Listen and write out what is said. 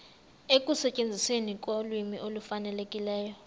ekusetyenzisweni kolwimi olufanelekileyo